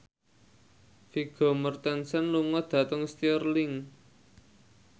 Vigo Mortensen lunga dhateng Stirling